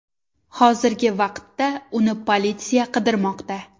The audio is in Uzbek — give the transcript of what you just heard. Hozirgi vaqtda uni politsiya qidirmoqda.